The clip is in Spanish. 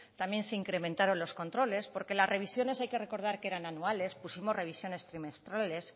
también se incrementaron los controles porque las revisiones hay que recordar que eran anuales pusimos revisiones trimestrales